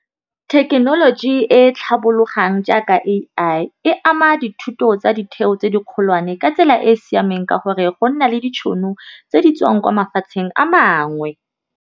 Thekenoloji e tlhabologang jaaka A_I e ama dithuto tsa ditheo tse di kgolwane ka tsela e e siameng ka gore, go nna le ditšhono tse di tswang kwa mafatsheng a mangwe.